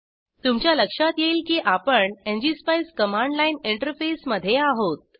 तुमच्या लक्षात येईल की आपण एनजीएसपाईस कमांड लाइन इंटरफेसमध्ये आहोत